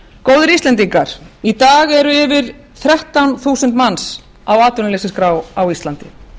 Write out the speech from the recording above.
góðir íslendingar í dag eru yfir þrettán þúsund manns á atvinnuleysisskrá á íslandi